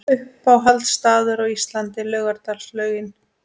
Uppáhalds staður á Íslandi: Laugardalslaugin